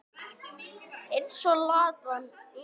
Eins og Ladan þín.